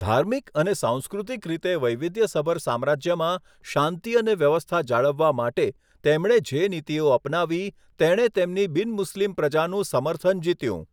ધાર્મિક અને સાંસ્કૃતિક રીતે વૈવિધ્યસભર સામ્રાજ્યમાં શાંતિ અને વ્યવસ્થા જાળવવા માટે, તેમણે જે નીતિઓ અપનાવી તેમણે તેમની બિન મુસ્લિમ પ્રજાનું સમર્થન જીત્યું.